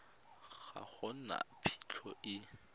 ga go na phitlho e